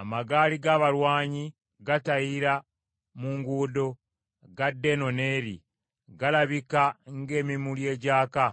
Amagaali g’abalwanyi gatayira mu nguudo, gadda eno n’eri, galabika ng’emimuli egyaka,